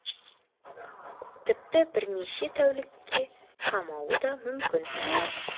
тіпті бірнеше тәулікке қамауы да мүмкін